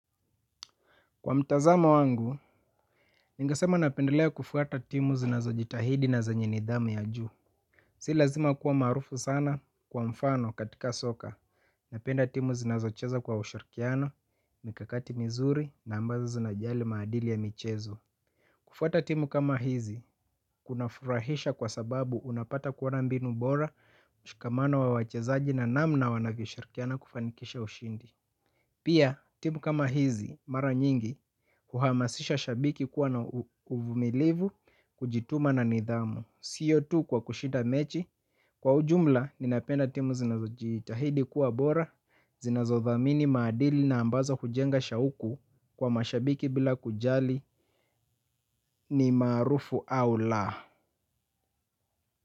Kwa mtazamo wangu, ningesema napendelea kufuata timu zinazo jitahidi na zenye nidhamu ya juu. Si lazima kuwa maarufu sana kwa mfano katika soka. Napenda timu zinazo cheza kwa ushirikiano, mikakati mizuri na ambazo zinajali maadili ya michezo. Kufuata timu kama hizi, kunafurahisha kwa sababu unapata kuoana mbinu bora, mshikamano wa wachezaji na namna wanavyo shirikiana kufanikisha ushindi. Pia, timu kama hizi, mara nyingi, huhamasisha shabiki kuwa na uvumilivu, kujituma na nidhamu, siyo tu kwa kushinda mechi. Kwa ujumla, ninapenda timu zinazojitahidi kuwa bora, zinazodhamini madili na ambazo hujenga shauku kwa mashabiki bila kujali ni maarufu au la.